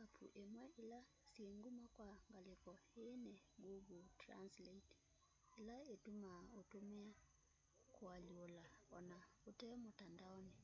apps imwe ila syi nguma kwa ngaliko ii ni google translate ila itumaa utumia kualyula ona ute mutandaoni